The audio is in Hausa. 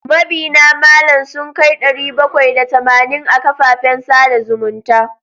Mabiyna malam sun kai ɗari bakwai da tamanin a kafafen sada zumunta.